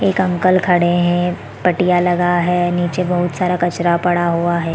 एक अंकल खड़े है पटिया लगा है नीचे बहुत सारा कचड़ा पड़ा हुआ है।